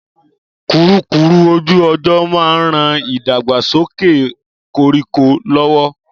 Kùrukùru ojú ọjọ́ ma n ran ìdàgbàsókẹ̀ koríko lọ́wọ́.